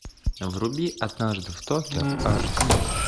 вруби однажды в токио аш ди